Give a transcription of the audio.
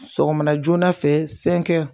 Sɔgɔma joona fɛ